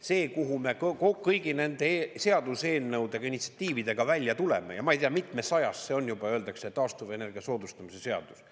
See, kuhu me kõigi nende seaduseelnõudega ja initsiatiividega välja tuleme, ja ma ei tea, mitmesajas see on juba, öeldakse, taastuvenergia soodustamise seadus.